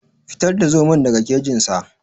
Fitar da zomon daga kejin sa.